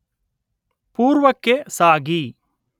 ಪೂರ್ವಕ್ಕೆ ಸಾಗಿ